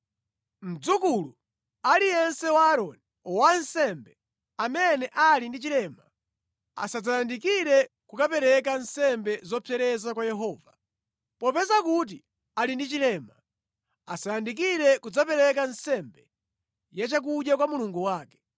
Mdzukulu aliyense wa Aaroni wansembe, amene ali ndi chilema asadzayandikire kukapereka nsembe zopsereza kwa Yehova. Popeza kuti ali ndi chilema, asayandikire kudzapereka nsembe ya chakudya kwa Mulungu wake.